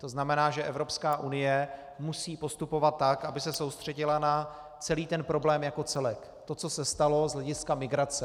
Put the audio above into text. To znamená, že Evropská unie musí postupovat tak, aby se soustředila na celý ten problém jako celek, to, co se stalo z hlediska migrace.